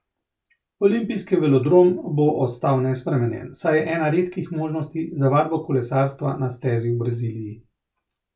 Olimpijski velodrom bo ostal nespremenjen, saj je ena redkih možnosti za vadbo kolesarstva na stezi v Braziliji.